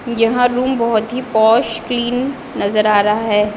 यहाँ रूम बहुत ही पॉश क्लीन नज़र आ रहा है।